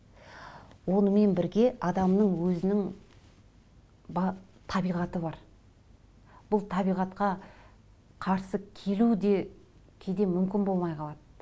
онымен бірге адамның өзінің табиғаты бар бұл табиғатқа қарсы келу де кейде мүмкін болмай қалады